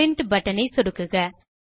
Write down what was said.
print button ஐ சொடுக்குக